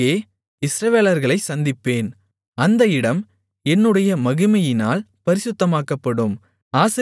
அங்கே இஸ்ரவேலர்களைச் சந்திப்பேன் அந்த இடம் என்னுடைய மகிமையினால் பரிசுத்தமாக்கப்படும்